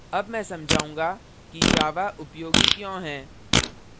मैं अब समझाऊँगा कि java उपयोगी क्यों है